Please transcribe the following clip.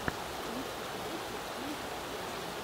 включи киношку в стиле страшилки